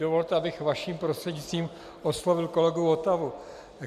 Dovolte, abych vaším prostřednictvím oslovil kolegu Votavu.